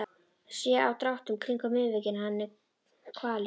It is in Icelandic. Sé á dráttunum kringum munnvikin að hann er kvalinn.